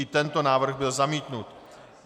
I tento návrh byl zamítnut.